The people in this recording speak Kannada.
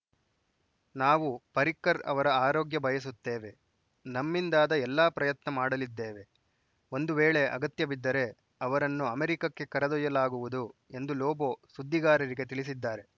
ನಾವು ಪರ್ರಿಕರ್‌ ಅವರ ಆರೋಗ್ಯ ಬಯಸುತ್ತೇವೆ ನಮ್ಮಿಂದಾದ ಎಲ್ಲಾ ಪ್ರಯತ್ನ ಮಾಡಲಿದ್ದೇವೆ ಒಂದು ವೇಳೆ ಅಗತ್ಯಬಿದ್ದರೆ ಅವರನ್ನು ಅಮೆರಿಕಕ್ಕೆ ಕರೆದೊಯ್ಯಲಾಗುವುದು ಎಂದು ಲೋಬೋ ಸುದ್ದಿಗಾರರಿಗೆ ತಿಳಿಸಿದ್ದಾರೆ